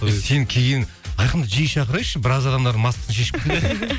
сен кейін айқынды жиі шақырайықшы біраз адамдардың маскасын шешіп кеттің